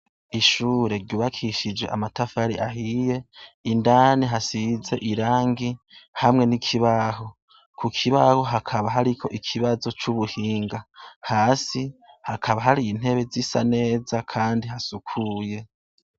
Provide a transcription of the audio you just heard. Ishure ryubakishije amatafari ahiye, indani hasize irangi hamwe n'ikibaho. Ku kibaho hakaba hariho ikibazo c'ubuhinga. hakaba hari intebe zisa neza hasukuye.